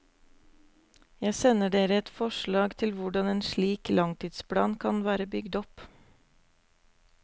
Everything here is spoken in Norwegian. Jeg sender dere et forslag til hvordan en slik langtidsplan kan være bygd opp.